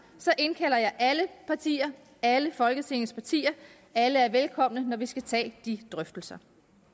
indkalder jeg alle partier alle folketingets partier alle er velkomne når vi skal tage de drøftelser